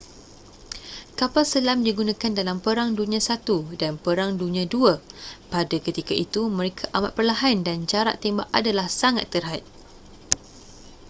kapal selam digunakan dalam perang dunia i dan perang dunia ii pada ketika itu mereka amat perlahan dan jarak tembak adalah sangat terhad